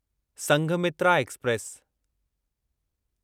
Sanghamitra express